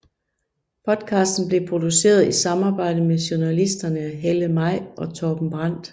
Podcasten blev produceret i samarbejde med journalisterne Helle Maj og Torben Brandt